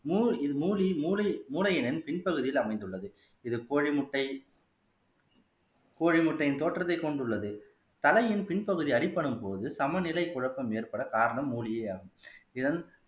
இது மூலிகை மூளை மூளையின் பின் பகுதியில் அமைந்துள்ளது இது கோழி முட்டை கோழி முட்டையின் தோற்றத்தை கொண்டுள்ளது தலையின் பின்பகுதி அடிபடும்போது சமநிலை குழப்பம் ஏற்பட காரணம் மூலிகை ஆகும் இதன்